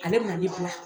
Ale bɛna ne bila